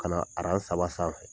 Ka na saba sanfɛ.